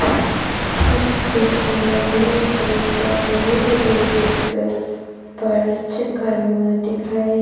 इस चित्र में एक आयुर्वेदिक दिखाई--